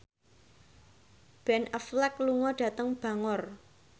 Ben Affleck lunga dhateng Bangor